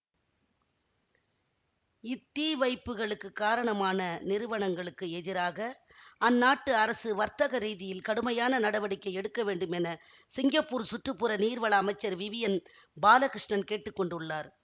இத்தீவைப்புகளுக்குக் காரணமான நிறுவனங்களுக்கு எதிராக அந்நாட்டு அரசு வர்த்தக ரீதியில் கடுமையான நடவடிக்கை எடுக்கவேண்டும் என சிங்கப்பூர் சுற்று புற நீர்வள அமைச்சர் விவியன் பாலகிருஷ்ணன் கேட்டு கொண்டுள்ளார்